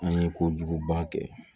An ye kojuguba kɛ